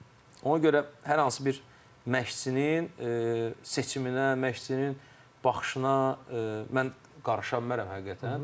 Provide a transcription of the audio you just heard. Ona görə hər hansı bir məşqçinin seçiminə, məşqçinin baxışına mən qarışa bilmərəm həqiqətən.